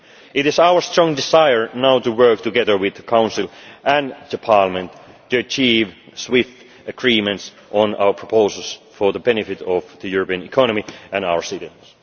on time. It is our strong desire now to work together with the Council and with Parliament to achieve swift agreements on our proposals for the benefit of the European economy and our citizens.